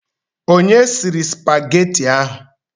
Onye sịrị supageti ahụ?